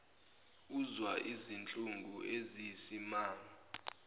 uzwa izinhlungu eziyisimanga